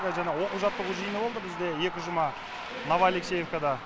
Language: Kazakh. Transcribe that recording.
жаңа оқу жаттығу жиыны болды бізде екі жұма новоалексеевкада